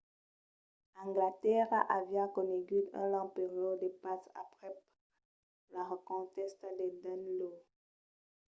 anglatèrra aviá conegut un long periòde de patz aprèp la reconquèsta del danelaw